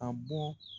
A bɔ